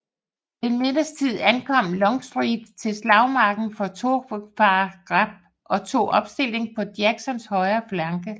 Ved middagstid ankom Longstreet til slagmarken fra Thoroughfare Gap og tog opstilling på Jacksons højre flanke